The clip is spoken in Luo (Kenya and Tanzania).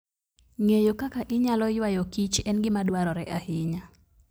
Ng'eyo kaka inyalo ywayo kich en gima dwarore ahinya.